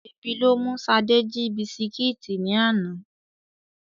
Ebi ló mú Ṣadé jí bisikíìtì ní àná.